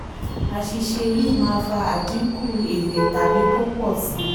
àṣìṣe yìí máa fa àdínkù fa àdínkù èrè tàbí kó pò si.